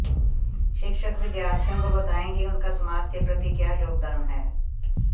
शिक्षक विद्यार्थियों को बताएं कि उनका समाज के प्रति क्या योगदान है